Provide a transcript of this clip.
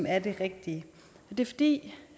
er det rigtige det er fordi